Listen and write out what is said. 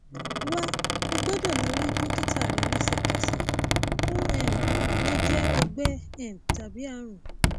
wà o gbọdọ lọ bá dókítà rẹ lẹsẹkẹsẹ ó um lè jẹ ọgbẹ um tàbí ààrùn